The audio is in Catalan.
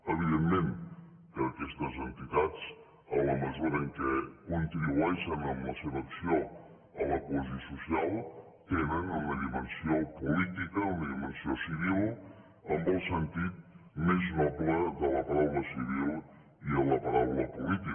evidentment que aquestes entitats en la mesura en què contribueixen amb la seva acció a la cohesió social tenen una dimensió política una dimensió civil en el sentit més noble de la paraula civil i de la paraula política